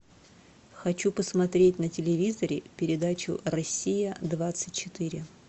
хочу посмотреть на телевизоре передачу россия двадцать четыре